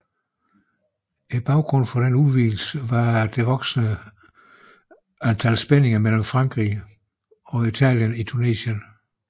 Baggrunden for denne udvidelse var de voksende spændinger mellem Frankrig og Italien i Tunesien